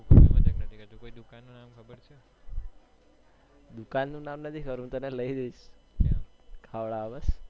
દુકાન નું નામ નથી ખબર હું તને લઇ જઈશ ખવડાવા બસ